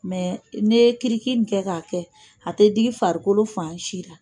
Mɛ n'i ye kiriki kɛ k'a kɛ, a tɛ diigi farikolo fan si la.